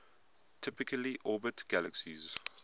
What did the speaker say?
typically orbit galaxies